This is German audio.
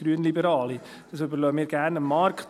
Das überlassen wir gerne dem Markt.